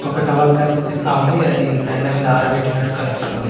ఒక టవల్ కనిపిస్తా ఉంది అది దండ మీద ఆరబెట్టినట్టు కనిపిస్తుంది.